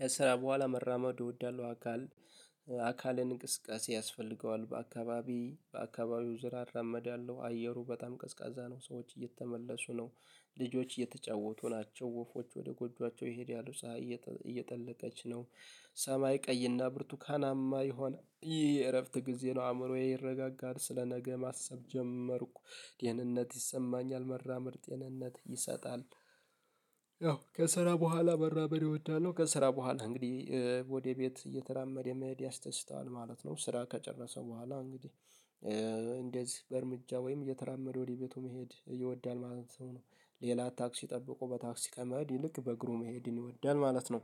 ከስራ በኋላ መራመድ እወዳለሁ። አካሌን እንቅስቃሴ ያስፈልገዋል በአካባቢ በአካባቢው ዙሪየሠ እራመደለው አየሩ በጣም ቀዝቃዛ ነው ሰዎች እየተመለሱ ነው ልጆች እየተጫወቱ ናቸው ወፎች ወደ ጎጆአቸው ይሄዳሉ። ፀሀይ እየጠለቀች ነው። ሰማይ ቀይና ብርቱካናማ ይሆን ይህ እረፍት ጊዜ ነው፤ አእምሮዬ ይረጋጋል፤ ስለነገ ማሰብ ጀመርኩ፤ ይህንነት ይሰማኛል፤ መራመድ ጤንነት ይሰጣል። ያው ከስራ በኋላ መራመድ እወዳለሁ። ከስራ በኋላ እንግዲህ ወደ ቤት እየተራመደ መሄድ ያስደስተዋል ማለት ነው። ስራ ከጨረሰ በኋላ እንግዲህ እንደዚህ በእርምጃ ወይም እየተራመደ ወደ ቤቱ መሄድ ይወዳል ማለት ነው። ሌላ ታክሲ ጠብቆ በታክሲ ከመሀድ ይልቅ በእግሩ መሄድን ይወዳል ማለት ነው።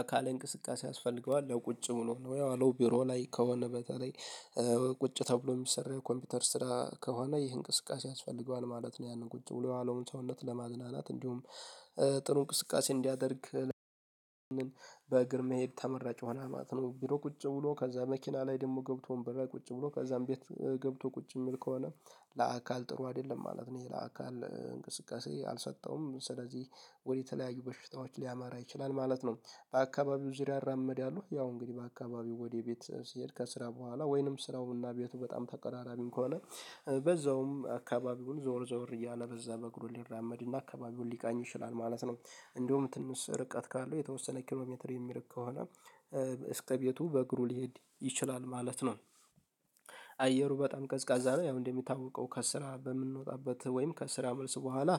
አካሌ እንቅስቃሴ ያስፈልገዋል። ቁጭ ብሎ ነው ያው አለው ቢሮ ላይ ከሆነ በተለይ ቁጭ ተብሎ የሚሰራ የኮምፒውተር ስራ ከሆነ ይህን እንቅስቃሴ ያስፈልገዋል ማለት ነው ያንን ቁጭ ብሎ የዋለውን ሰውነት ለማዝናናት እንዲሁም ጥሩ እንቅስቃሴ እንዲያደርግ መሄድ ተመራጭ ይሆናል ማለት ነው። ቢሮ ቁጭ ብሎ ከዛ መኪና ላይ ደግሞ ገብቶ ወንበር ላይ ቁጭ ብሎ ከዛም ቤት ገብቶ ቁጭ የሚል ከሆነ ለአካል ጥሩ አይደለም ማለት ነው። ይሄ ለአካል እንቅስቃሴ አልሰጠውም ስለዚህ ወደ ተለያዩ በሽታዎች ሊያመራ ይችላል ማለት ነው። በአካባቢው ዙሪያ አራመድ ያው ያው እንግዲህ በአካባቢው ወደ ቤት ስሄድ ከስራ በኋላ ወይንም ስራውና ቤቱ በጣም ተቀራራቢም ከሆነ በዛውም አካባቢውን ዞር ዞር እያለ በዛ በግሩ ሊራመድና አካባቢውን ሊቃኝ ይችላል ማለት ነው። እንዲሀም ትንስ ርቀት ካለው የተወሰነ ሜትር የሚርቅ ከሆነ እስከ ቤቱ በእግሩ ሊሄድ ይችላል ማለት ነው። አየሩ በጣም ቀዝቃዛ ነው ያው እንደሚታወቀው ከስራ በምንወጣበት ወይም ከስራ መልስ በኋላ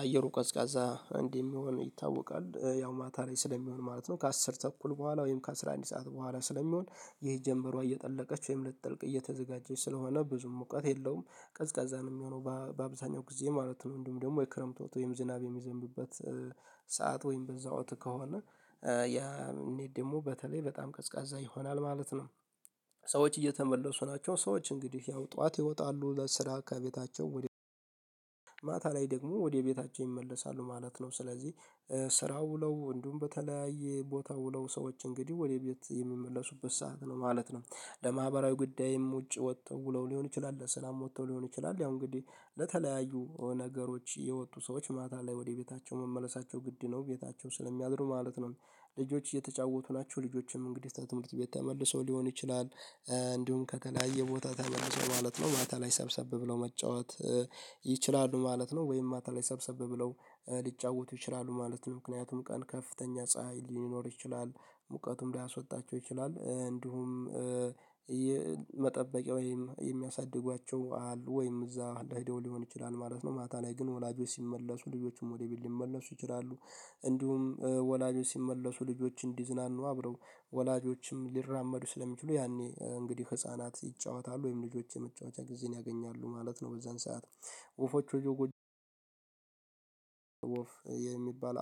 አየሩ ቀዝቃዛ እንደሚሆን ይታወቃል ያው ማታ ላይ ስለሚሆን ማለት ነው ከአስር ተኩል በኋላ ወይም ከአሥራ አንድ ሰዓት በኋላ ስለሚሆን ይሄ ጀምበሯ እየጠለቀች ወይም ልትጠልቅ እየተዘጋጀች ስለሆነ ብዙም ሙቀት የለውም ቀዝቃዛ ነው የሚሆነው። በአብዛኛው ጊዜ ማለት ነው። እንዲሁም ደግሞ የክረምት ወጥ ወይም ዝናብ የሚዘንብበት ሰዓት ወይም በዛ ወቅት ከሆነ ያ ደግሞ በተለይ ቀዝቃዛ ይሆናል ማለት ነው ሰዎች እየተመለሱ ናቸው። ሰዎች እንግዲህ ያው ጠዋት ይወጣሉ ለስራ ከቤታቸው ወደ ማታ ላይ ደግሞ ወደ ቤታቸው ይመለሳሉ ማለት ነው። ስለዚህ ስራ ውለው እንዲሁም በተለያየ ቦታ ውለው ሰዎች እንግዲህ ወደ ቤት የሚመለሱበት ሰዓት ነው ማለት ነው። ለማህበራዊ ጉዳይም ውጪ ወጥተው ሊሆን ይችላል በሰላም ወጥተው ሊሆን ይችላል ያው እንግዲህ ለተለያዩ ነገሮች የወጡ ሰዎች ማታ ላይ ወደ ቤታቸው መመለሳቸው ግድ ነው። ቤታቸው ስለሚያድሩ ማለት ነው ልጆች እየተጫወቱ ናቸ፤ ልጆችም እንግዲህ ከትምህርት ቤት ተመልሰው ሊሆን ይችላል፤ እንዲሁም ከተለያየ ቦታ ተመልሰው ማለት ነው ማታ ላይ ሰብሰብ ብለው መጫወት ይችላሉ ማለት ነው። ወይም ማታ ላይ ሰብሰብ ብለው ሊጫወቱ ይችላሉ ማለት ነው። ምክንያቱም ቀን ከፍተኛ ፀሀይ ሊኖር ይችላል ሙቀቱም ሊያስወጣቸው ይችላል እንዲሁም መጠበቂያ ወይም የሚያሳድጓቸው አሉ። ወይም እዛ ሂደው ሊሆን ይችላል ማለት ነው። ማታ ላይ ግን ወላጆች ሲመለሱ ልጆችም ወደ ቢል ሊመለሱ ይችላሉ እንዲሁም ወላጆች ሲመለሱ ልጆችን እንዲዝናኑ አብረው ወላጆችም ሊራመዱ ስለሚችሉ ያኔ እንግዲህ ህፃናት ይጫወታሉ። ወይም ልጆች መጫወቻ ጊዜን ያገኛሉ ማለት ነው በዛን ሰዓት ወፎች ወደ ጎጆ ወፍ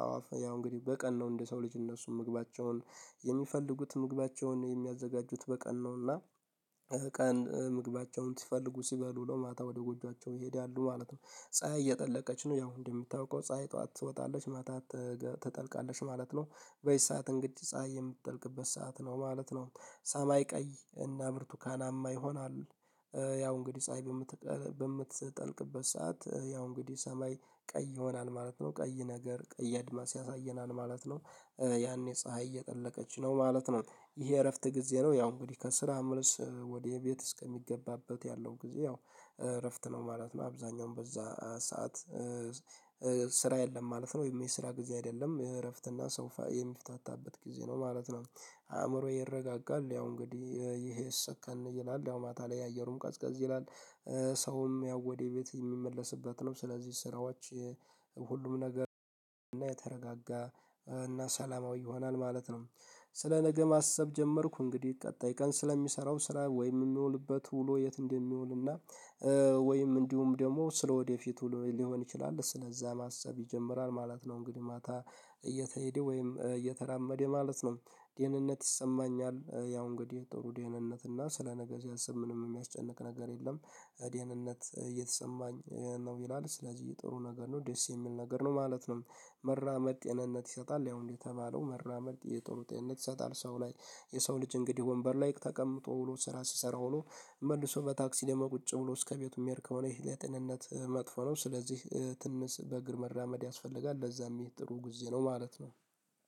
አዋፍ ያው እንግዲህ በቀን ነው እንደ ሰው ልጅ እነሱን ምግባቸውን የሚፈልጉት ምግባቸውን የሚያዘጋጁት በቀን ነውና ቀን ምግባቸውን ሲፈልጉ ሲበሉ ውለው ማታ ወደ ጎጆአቸው ይሄዳሉ ማለት ነው። ፀሀይ እየጠለቀች ነው ያው እንደምታውቀው ፀሀይ ጠዋት ትወጣለች ማታ ትጠልቃለሽ ማለት ነው። በዚህ ሰዓት እንግዲህ ፀሀይ የምትጠልቅበት ሰዓት ነው ማለት ነው ሰማይ ቀይ እና ብርቱካናማ ይሆናል ያው እንግዲህ ፀሀይ በምትጠልቅበት ሰዓት ያው እንግዲህ ሰማይ ቀይ ይሆናል ማለት ነው። ቀይ ነገር ቀይ አድማስ ያሳየናል ማለት ነው። ያኔ ፀሀይ እየጠለቀች ነው ማለት ነው። ይሄ እረፍት ጊዜ ነው ያው እንግዲህ ከስራ ምልስ ወደ ቤት እስከሚገባበት ያለው ጊዜ ያው እረፍት ነው ማለት ነው አብዛኛውን በዛ ሰዓት ስራ የለም ማለት ነው ወይም የስራ ጊዜ አይደለም፤ የእረፍት እና ሰው የሚፈፍታታበት ጊዜ ነው ማለት ነው። አእምሮዬ ይረጋጋል ያው እንግዲህ ይሄ ሰከን ይላል አሁን ማታ ላይ የአየሩም ቀዝቃዝ ይላል ሰውም ያው ወዴ ቤት የሚመለስበት ነው። ስለዚህ ስራዎች ሁሉም ነገር እና የተረጋጋ እና ሰላማዊ ይሆናል ማለት ነው። ስለ ነገ ማሰብ ጀመርኩ እንግዲህ ቀጣይ ቀን ስለሚሰራው ስራ ወይም የሚውልበት ውሎ የት እንደሚውልና ወይም እንዲሁም ደግሞ ስለወደፊት ውሎዬ ሊሆን ይችላል። ስለዛ ማሰብ ይጀምራል ማለት ነው እንግዲህ ማታ እየተሄደ ወይም እየተራመደ ማለት ነው። ደህንነት ይሰማኛል ያው እንግዲህ ጥሩ ዴንነት እና ስለ ነገ ሲያስብ ምንም የሚያስጨንቅ ነገር የለም። ደህንነት እየተሰማኝ ነው ይላል። ስለዚህ ጥሩ ነገር ነው ደስ የሚል ነገር ነው ማለት ነው መራመድ ጤንነት ይሰጣል ያው እንደተባለው መራመድ ጥሩ ጤንነት ይሰጣል። ሰው ላይ የሰው ልጅ እንግዲህ ወንበር ላይ ተቀምጦ ውሎ ስራ ሲሰራ ሆኖ መልሶ በታክሲ ደግሞ ቁጭ ውሎ እስከቤቱ የሚሄድ ከሆነ ይሄ ለጤንነት መጥፎ ነው ስለዚህ ትንስ በእግር መራመድ ያስፈልጋል። ለዛም ይሄ ጥሩ ጊዜ ነው ማለት ነው።